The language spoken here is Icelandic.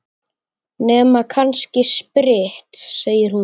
Nema kannski spritt, segir hún.